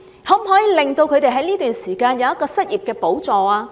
可否在這段時間為他們提供失業補助？